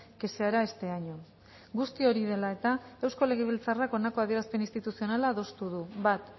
que se hará este año guzti hori dela eta eusko legebiltzarrak honako adierazpen instituzionala adostu du bat